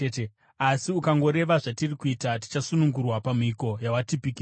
Asi ukangoreva zvatiri kuita, tichasunungurwa pamhiko yawatipikisa.”